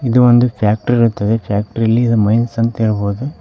ಇದು ಒಂದು ಫ್ಯಾಕ್ಟರಿ ಇರುತ್ತದೆ ಫ್ಯಾಕ್ಟರಿಲ್ಲಿ ಇದ್ ಮೈನ್ಸ್ ಅಂತ ಹೇಳ್ಬೋದು.